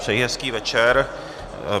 Přeji hezký večer.